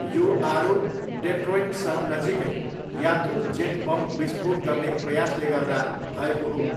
यो आरोप डेट्रोइट सहर नजिकै यात्रु जेट बम विस्फोट गर्ने प्रयासले गर्दा भएको हो।